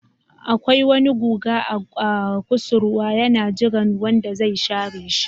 Akwai wani guga a kusurwa yana jiran wanda zai share shi.